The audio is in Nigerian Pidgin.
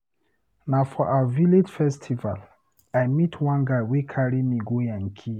Na for our village festival I meet one guy wey carry me go yankee.